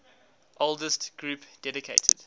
oldest group dedicated